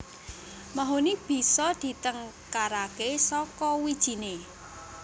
Mahoni bisa ditengkaraké saka wijiné